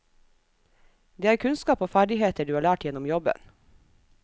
Det er kunnskap og ferdigheter du har lært gjennom jobben.